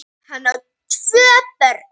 Hann á tvö börn.